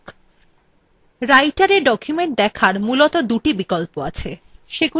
writerএ document দেখার মূলত দুটি বিকল্প আছে